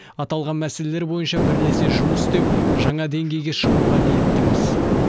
аталған мәселелер бойынша бірлесе жұмыс істеп жаңа деңгейге шығуға ниеттіміз